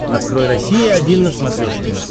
открой россия один на смотрешке